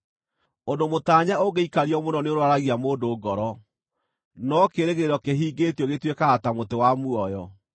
Ũndũ mũtaanye ũngĩikario mũno nĩũrwaragia mũndũ ngoro, no kĩĩrĩgĩrĩro kĩhingĩtio gĩtuĩkaga ta mũtĩ wa muoyo.